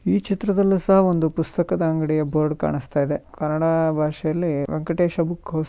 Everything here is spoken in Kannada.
ಈ ಚಿತ್ರದಲ್ಲಿ ಸಹ ಒಂದು ಪುಸ್ತಕದ ಅಂಗಡಿಯ ಬೋರ್ಡ್ ಕಾಣಿಸ್ತಾ ಇದೆ ಕನ್ನಡ ಭಾಷೆಯಲ್ಲಿ ವೆಂಕಟೇಶ ಬುಕ್ ಹೌಸ್